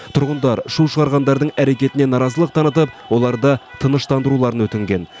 тұрғындар шу шығарғандардың әрекетіне наразылық танытып оларды тыныштандыруларын өтінген